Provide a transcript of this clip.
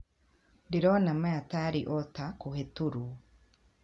Ndĩrona maya tarĩ o ta (kũhetoruo).